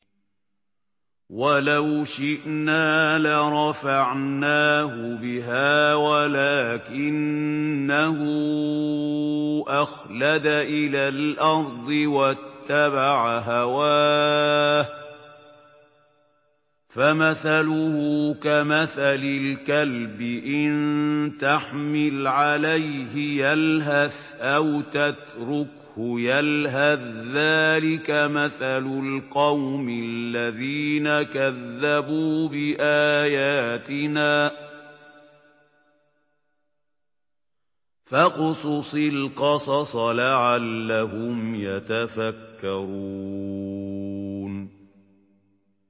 وَلَوْ شِئْنَا لَرَفَعْنَاهُ بِهَا وَلَٰكِنَّهُ أَخْلَدَ إِلَى الْأَرْضِ وَاتَّبَعَ هَوَاهُ ۚ فَمَثَلُهُ كَمَثَلِ الْكَلْبِ إِن تَحْمِلْ عَلَيْهِ يَلْهَثْ أَوْ تَتْرُكْهُ يَلْهَث ۚ ذَّٰلِكَ مَثَلُ الْقَوْمِ الَّذِينَ كَذَّبُوا بِآيَاتِنَا ۚ فَاقْصُصِ الْقَصَصَ لَعَلَّهُمْ يَتَفَكَّرُونَ